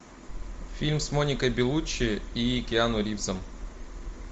фильм с моникой белуччи и киану ривзом